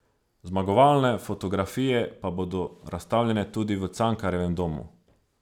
Zmagovalne fotografije pa bodo razstavljene tudi v Cankarjevem domu.